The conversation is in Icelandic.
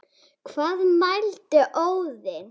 Hvað mælti Óðinn